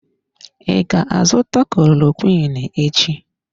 I ga azụta klorokwiin echi?